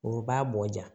O b'a bɔ ja